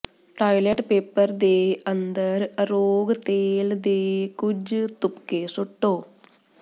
toilet paper ਦੇ ਅੰਦਰ ਅਰੋਗ ਤੇਲ ਦੇ ਕੁਝ ਤੁਪਕੇ ਸੁੱਟੋ